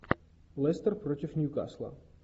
лестер против ньюкасла